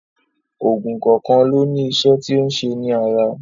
Oògùn kọ̀ọ̀kan ló ní iṣẹ́ tí ó ń ṣe ní ara.